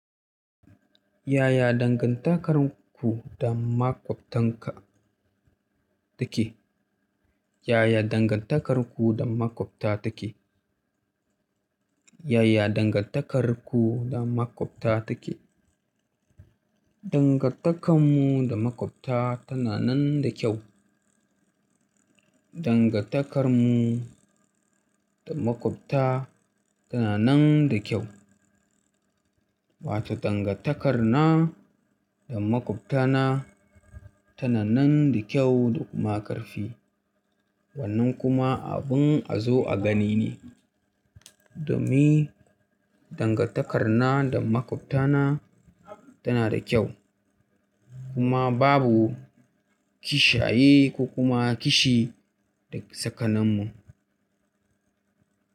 Yaya dangantakarku da maƙwabtanka take? Yaya dangantakarku da maƙwabta take? Yaya dangantakarku da maƙwabta take? Dangantakarmu da maƙwabta tana nan da kyau. Dangantakarmu da maƙwabta tana nan da kyau. Wato dangantakarnan da maƙwabtana tana nan da kyau da kuma ƙarfi. Wannan kuma abin a zo a gani ne. Domin dangantakar na da maƙwabta na tana da kyau kuma babu kishaye ko kuma kishi dake tsakaninmu.